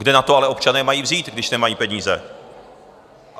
Kde na to ale občané mají vzít, když nemají peníze?